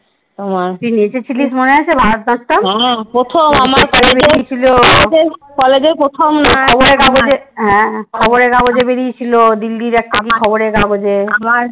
তোমার তুই নেচেছিলিস মনে আছে ভারতনাট্যাম? খবরের কাগজে বেড়িয়ে ছিল দিল্লির একটা কি খবরের কাগজে?